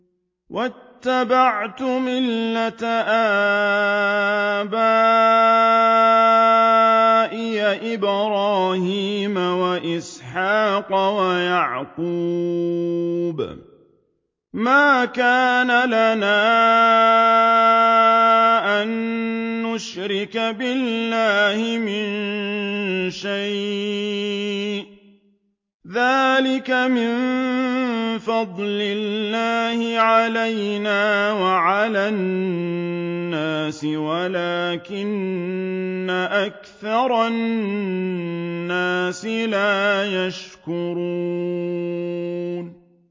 وَاتَّبَعْتُ مِلَّةَ آبَائِي إِبْرَاهِيمَ وَإِسْحَاقَ وَيَعْقُوبَ ۚ مَا كَانَ لَنَا أَن نُّشْرِكَ بِاللَّهِ مِن شَيْءٍ ۚ ذَٰلِكَ مِن فَضْلِ اللَّهِ عَلَيْنَا وَعَلَى النَّاسِ وَلَٰكِنَّ أَكْثَرَ النَّاسِ لَا يَشْكُرُونَ